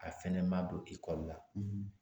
A fɛnɛ ma don la